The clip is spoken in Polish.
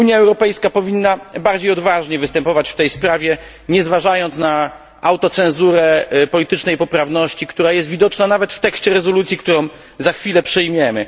Unia Europejska powinna bardziej odważnie występować w tej sprawie, nie zważając na autocenzurę politycznej poprawności, która jest widoczna nawet w tekście rezolucji, którą za chwilę przyjmiemy.